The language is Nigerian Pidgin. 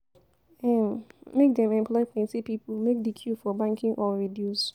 um Make dem employ plenty pipo make di queue for banking hall reduce.